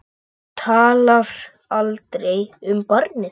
Hún talar aldrei um barnið.